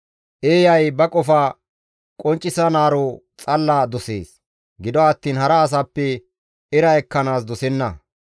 Eeyay ba qofa qonccisanaaro xalla dosees; gido attiin hara asappe era ekkanaas dosenna.